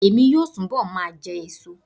Emi yoo túbọ̀ ma jẹ èso